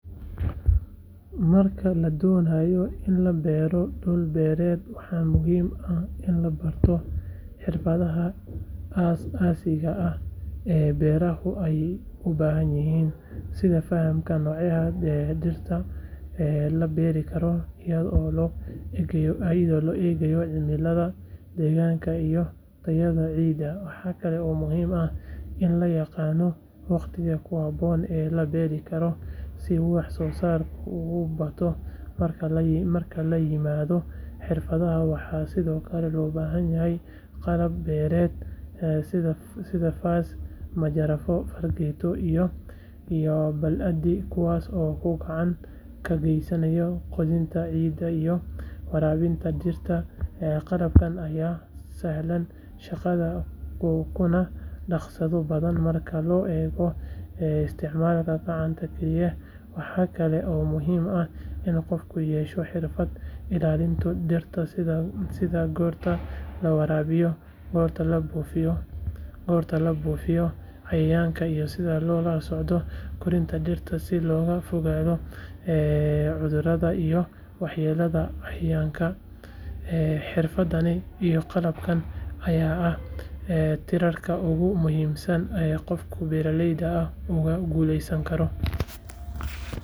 Marka la doonayo in la beero dhul beereed waxaa muhiim ah in la barto xirfadaha aas-aasiga ah ee beeralayda ay u baahan yihiin sida fahamka noocyada dhirta la beeri karo iyadoo loo eegayo cimillada deegaanka iyo tayada ciidda waxaa kale oo muhiim ah in la yaqaano waqtiga ku habboon ee la beeri karo si wax soo saarka uu u bato marka laga yimaado xirfadaha waxaa sidoo kale loo baahan yahay qalab beereed sida faas majarafad fargeeto iyo baaldi kuwaas oo gacan ka geysanaya qodista ciidda iyo waraabinta dhirta qalabkan ayaa sahlaya shaqada kuna dhakhso badan marka loo eego isticmaalka gacanta keliya waxaa kale oo muhiim ah in qofku yeesho xirfadda ilaalinta dhirta sida goorta la waraabiyo goorta la buufiyo cayayaanka iyo sida loola socdo korriinka dhirta si looga fogaado cudurrada iyo waxyeellada cayayaanka xirfadahan iyo qalabkan ayaa ah tiirarka ugu muhiimsan ee qof beeraley ah uu ku guuleysan karo.